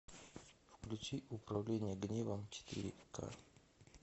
включи управление гневом четыре ка